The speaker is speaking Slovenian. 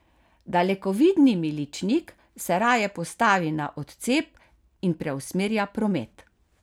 Dalekovidni miličnik se raje postavi na odcep in preusmerja promet.